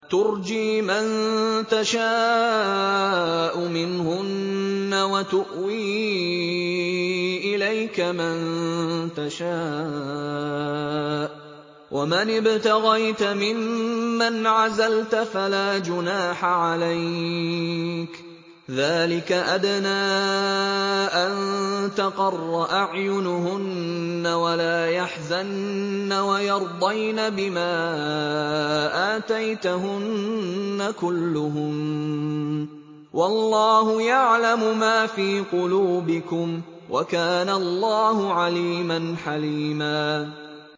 ۞ تُرْجِي مَن تَشَاءُ مِنْهُنَّ وَتُؤْوِي إِلَيْكَ مَن تَشَاءُ ۖ وَمَنِ ابْتَغَيْتَ مِمَّنْ عَزَلْتَ فَلَا جُنَاحَ عَلَيْكَ ۚ ذَٰلِكَ أَدْنَىٰ أَن تَقَرَّ أَعْيُنُهُنَّ وَلَا يَحْزَنَّ وَيَرْضَيْنَ بِمَا آتَيْتَهُنَّ كُلُّهُنَّ ۚ وَاللَّهُ يَعْلَمُ مَا فِي قُلُوبِكُمْ ۚ وَكَانَ اللَّهُ عَلِيمًا حَلِيمًا